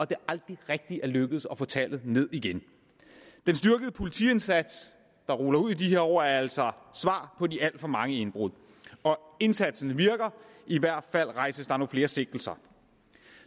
det aldrig rigtig er lykkedes at få tallet ned igen den styrkede politiindsats der ruller ud i de her år er altså svar på de alt for mange indbrud og indsatsen virker i hvert fald rejses der nu flere sigtelser